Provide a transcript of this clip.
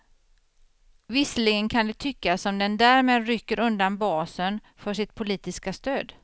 Visserligen kan det tyckas som den därmed rycker undan basen för sitt politiska stöd.